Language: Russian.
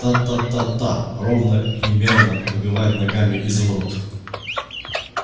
та та та та ровно и мерно выбивает ногами изумруд